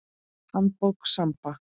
Handbók Samba.